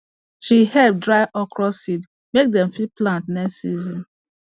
she help dry okra seed make dem fit plant next season